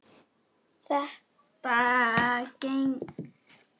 Þetta gengur allt upp.